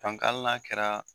hali n'a kɛra